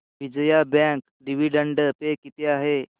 Vijaya bank dividend pay किती आहे